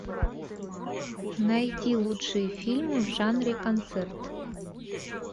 найди лучшие фильмы в жанре концерт